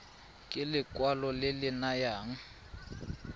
ke lekwalo le le nayang